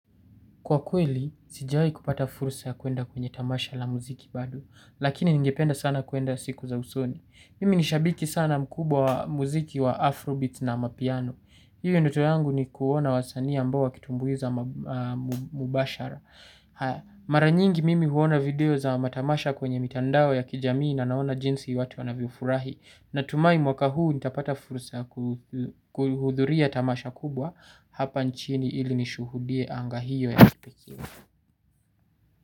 Kwa kweli, sijawahi kupata fursa ya kwenda kwenye tamasha la muziki bado, lakini ningependa sana kwenda siku za usoni. Mimi ni shabiki sana mkubwa wa muziki wa Afro Beats na Amapiano. Hiyo ndoto yangu ni kuona wasanii ambao wakitumbuiza mubashara. Haya. Mara nyingi mimi huona video za matamasha kwenye mitandao ya kijamii na naona jinsi watu wanavyofurahi. Natumai mwaka huu nitapata fursa kuhudhuria tamasha kubwa hapa nchini ili nishuhudie anga hiyo ya kipekee.